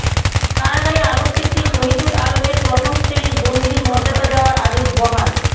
কারাগারে আলোকচিত্রী শহিদুল আলমের প্রথম শ্রেণির বন্দীর মর্যাদা দেয়ার আদেশ বহাল